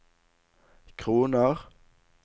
kroner